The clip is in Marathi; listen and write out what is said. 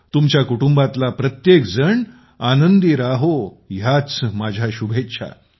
तुमच्या कुटुंबातला प्रत्येकजण आनंदी राहो ह्याच माझ्या शुभेच्छा